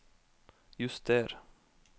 juster